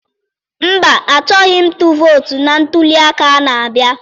Mba, achọghị m ịtụ vootu na ntụliaka a na-abịa.